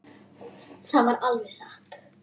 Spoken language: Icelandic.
Það var alveg satt.